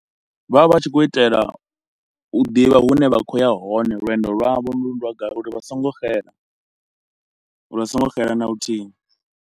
Vha vha vha tshi khou itela u ḓivha hune vha khoya hone, lwendo lwa vho gai uri vha so ngo xela, uri vha songo xela na luthihi.